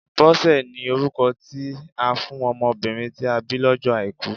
Bọ́sẹ̀ ni orúkọ tí a fún ọmọbìnrin tí a bí lọ́jọ́ Àìkú